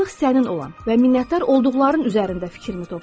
Artıq sənin olan və minnətdar olduqların üzərində fikrimi topla.